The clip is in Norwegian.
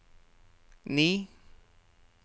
ni